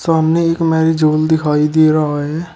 सामने एक marriage hall दिखाई दे रहा है।